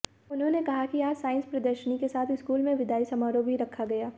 उन्होंने कहा कि आज साईंस प्रदर्शनी के साथ स्कूल में विदाई समारोह भी रखा गया